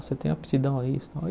Você tem aptidão a isso e tal e.